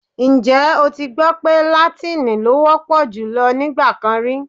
Ǹjẹ́ o ti gbọ́ pé làtín-ín ló wọ́ pọ̀ jùlọ nígbà kan rí?